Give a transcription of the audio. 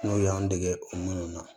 N'u y'an dege o minnu na